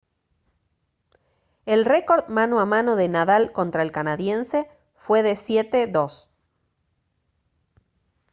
el récord mano a mano de nadal contra el canadiense fue de 7-2